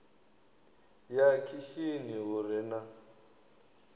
ya khishini hu re na